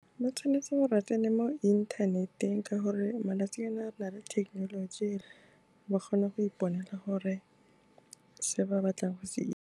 Ba tshwanetse go kene mo inthaneteng ka gore malatsi ana re na le thekenoloji, ba kgona go iponela gore se ba batlang go se itse.